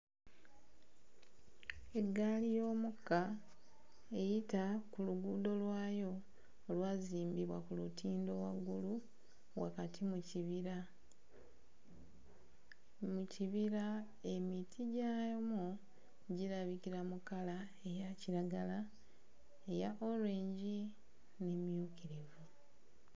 Eggaali y'omukka eyita ku luguudo lwayo olwazimbibwa ku lutindo waggulu wakati mu kibira. Mu kibira emiti gyamwo girabikira mu kkala eya kiragala, eya orange, n'emmyukirivu.